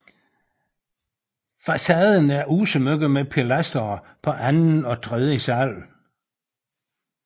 Facaden er udsmykket med pilastre på anden og tredje sal